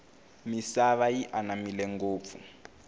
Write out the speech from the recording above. misava yi anamile ngofu